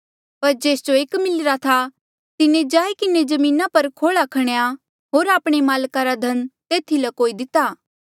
पर जेस जो एक मिलिरा था तिन्हें जाई किन्हें जमीना पर खोला खणेया होर आपणे माल्का रा धन तेथी ल्कोई दिते